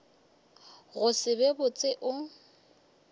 go se be botse o